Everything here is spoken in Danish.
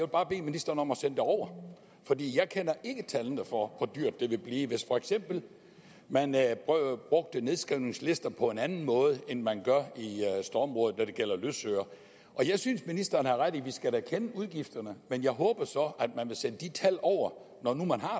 bare bede ministeren om at sende det over fordi jeg kender ikke tallene for hvor dyrt det ville blive hvis for eksempel man brugte nedskrivningslister på en anden måde end man gør i stormrådet når det gælder løsøre jeg synes at ministeren har ret i at vi da skal kende udgifterne men jeg håber så at man vil sende de tal over når nu man har